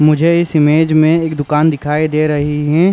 मुझे इस इमेज में एक दुकान दिखाई दे रही हैं।